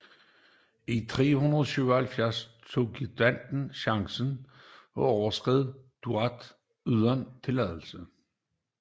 I 377 tog greutungerne chancen og overskred Donau uden tilladelse